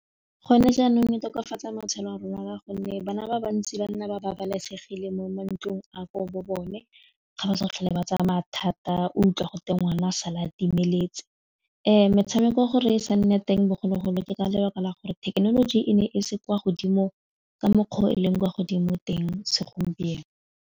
Gone jaanong e tokafatsa matshelo a rona ka gonne bana ba bantsi ba nna ba babalesegile mo mantlong a ko bo bone, ga ba sa tlhole ba tsaya mathata utlwa gote ngwana sala a timeletse, metshameko gore e sa nne teng bogologolo ke ka lebaka la gore thekenoloji e ne e se kwa godimo ka mokgwa o e leng kwa godimo teng segompieno.